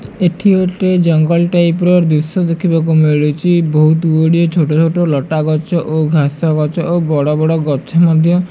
ଏଠି ଗୋଟେ ଜଙ୍ଗଲ ଟାଇପ୍ ର ଦୃଶ୍ୟ ଦେଖିବାକୁ ମିଳୁଛି ବହୁତ୍ ଗୁଡ଼ିଏ ଛୋଟ ଛୋଟ ଲଟା ଗଛ ଘାସ ଗଛ ଓ ବଡ଼ ବଡ଼ ଗଛ ମଧ୍ୟ --